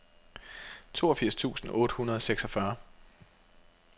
toogfirs tusind otte hundrede og seksogfyrre